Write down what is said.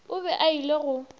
o be a ile go